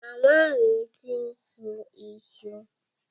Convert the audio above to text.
Màmá mi ti ń sun iṣu.